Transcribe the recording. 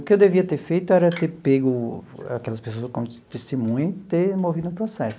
O que eu devia ter feito era ter pego aquelas pessoas como testemunha e ter movido um processo.